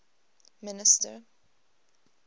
minister